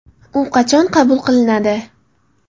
U qachon qabul qilinadi?